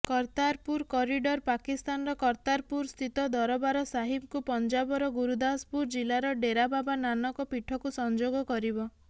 Kartarpur corridor ପାକିସ୍ତାନର କର୍ତ୍ତାରପୁରସ୍ଥିତ ଦରବାର ସାହିବକୁ ପଞ୍ଜାବର ଗୁରୁଦାସପୁର ଜିଲ୍ଲାର ଡେରାବାବା ନାନକ ପୀଠକୁ ସଂଯୋଗ କରିବ